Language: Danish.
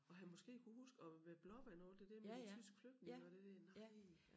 Og har måske kunnet huske og ved Blåvand og alt det der med de tyske flygtninge og det der nej